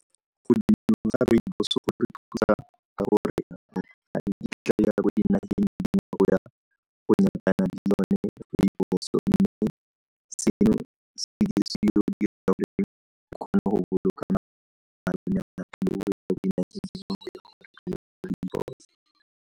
ga rooibos go re thusa mme seno se dirisitswe go .